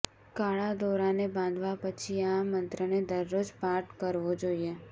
કાળા દોરાને બાંધવા પછી આ મંત્રને દરરોજ પાઠ કરવો જોઈએ